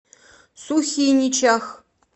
сухиничах